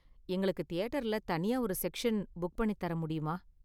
எங்களுக்கு தியேட்டர்ல தனியா ஒரு செக்ஷன் புக் பண்ணி தர முடியுமா?